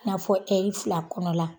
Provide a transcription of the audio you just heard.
N'a fɔ ɛri fila kɔnɔ la.